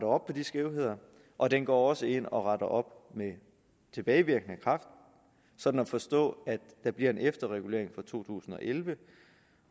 op på de skævheder og den går også ind og retter op med tilbagevirkende kraft sådan at forstå at der bliver en efterregulering for to tusind og elleve